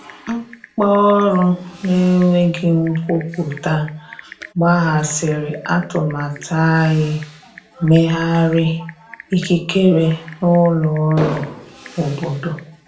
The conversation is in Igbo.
Mkpaọrụ na enweghi nkwụpụta kpaghasiri atụmatụ anyi mmeghari ikikere na ụlọ ọrụ obodo.